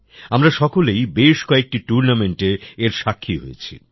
আমরা সকলেই বেশ কয়েকটি টুর্নামেন্টে এর সাক্ষী হয়েছি